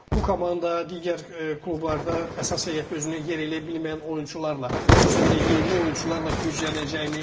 Bu komanda digər klublarda əsas heyətdə özünə yer eləyə bilməyən oyunçularla, xüsusən də yerli oyunçularla güclənəcəkmi?